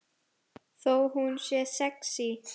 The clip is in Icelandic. Þó hún sé sexí.